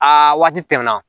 Aa waati tɛmɛna